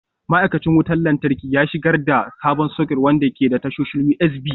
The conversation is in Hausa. Ma'aikacin wutar lantarki ya shigar da sabon soket wanda ke da tashoshin USB.